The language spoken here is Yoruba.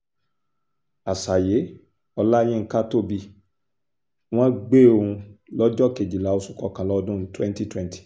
àṣàyé olayinka tóbi wọ́n gbé òun lọ́jọ́ kejìlá oṣù kọkànlá ọdún twenty twenty